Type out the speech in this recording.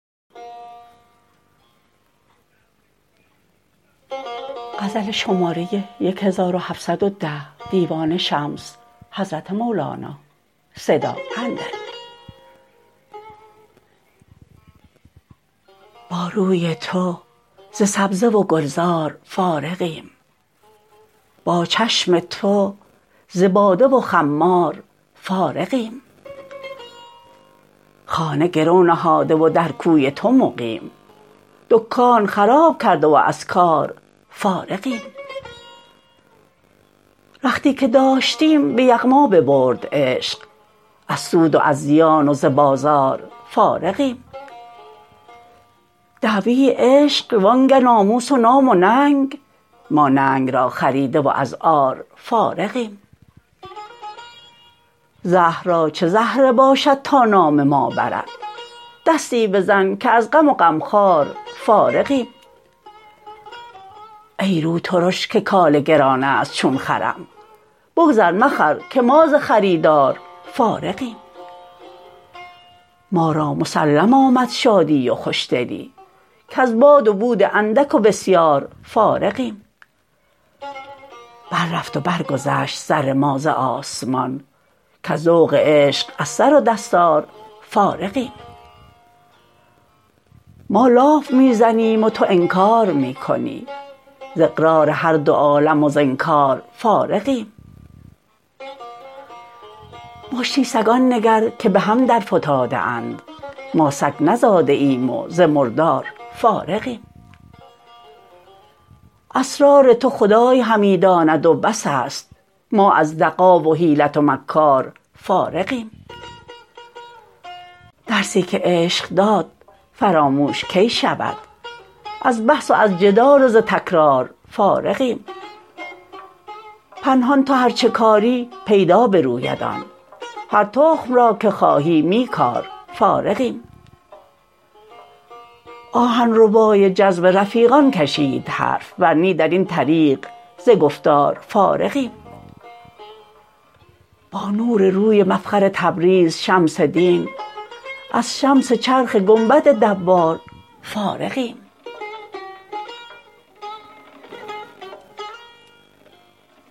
با روی تو ز سبزه و گلزار فارغیم با چشم تو ز باده و خمار فارغیم خانه گرو نهاده و در کوی تو مقیم دکان خراب کرده و از کار فارغیم رختی که داشتیم به یغما ببرد عشق از سود و از زیان و ز بازار فارغیم دعوی عشق وانگه ناموس و نام و ننگ ما ننگ را خریده و از عار فارغیم غم را چه زهره باشد تا نام ما برد دستی بزن که از غم و غمخواره فارغیم ای روترش که کاله گران است چون خرم بگذر مخر که ما ز خریدار فارغیم ما را مسلم آمد شادی و خوشدلی کز باد و بود اندک و بسیار فارغیم بررفت و برگذشت سر ما ز آسمان کز ذوق عشق از سر و دستار فارغیم ما لاف می زنیم و تو انکار می کنی ز اقرار هر دو عالم و ز انکار فارغیم مشتی سگان نگر که به هم درفتاده اند ما سگ نزاده ایم و ز مردار فارغیم اسرار تو خدای همی داند و بس است ما از دغا و حیلت و مکار فارغیم درسی که عشق داد فراموش کی شود از بحث و از جدال و ز تکرار فارغیم پنهان تو هر چه کاری پیدا بروید آن هر تخم را که خواهی می کار فارغیم آهن ربای جذب رفیقان کشید حرف ور نی در این طریق ز گفتار فارغیم با نور روی مفخر تبریز شمس دین از شمس چرخ گنبد دوار فارغیم